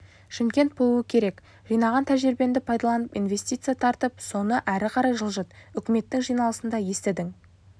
шымкент болуы керек жинаған тәжірибеңді пайдаланып инвестиция тартып соны әрі қарай жылжыт үкіметтің жиналысында естідің